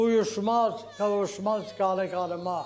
Uyuşmaz, qovuşmaz qara qanıma.